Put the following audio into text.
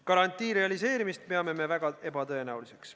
Garantii realiseerimist peame me väga ebatõenäoliseks.